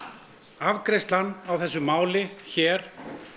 afgreiðslan á þessu máli hér